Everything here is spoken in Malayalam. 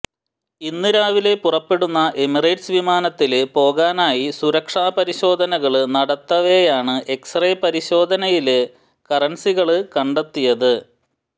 ഇന്ന് രാവിലെ പുറപ്പെടുന്ന എമിറേറ്റ്സ് വിമാനത്തില് പോകാനായി സുരക്ഷാ പരിശോധനകള് നടത്തവേയാണ് എക്സ് റേ പരിശോധനയില് കറന്സികള് കണ്ടെത്തിയത്